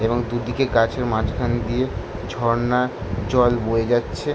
এবং দুদিকে গাছের মাঝখান দিয়ে ঝর্ণার জল বয়ে যাচ্ছে।